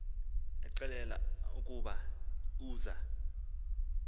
exelelwa ukuba uza